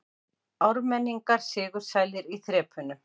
Ármenningar sigursælir í þrepunum